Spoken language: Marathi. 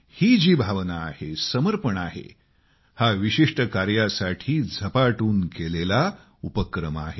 ही जी भावना आहे समर्पण आहे हे विशिष्ट कार्यासाठी झपाटून केलेला उपक्रम आहे